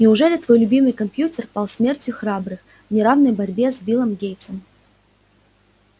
неужели твой любимый компьютер пал смертью храбрых в неравной борьбе с биллом гейтсом